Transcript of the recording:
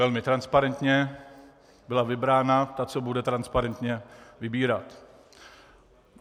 Velmi transparentně byla vybrána ta, co bude transparentně vybírat.